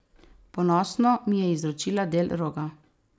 Ponosno mi je izročila del roga.